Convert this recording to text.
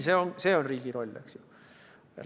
See on riigi roll, eks ju.